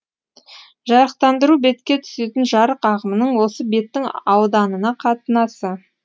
жарықтандыру бетке түсетін жарық ағымының осы беттің ауданына қатынасы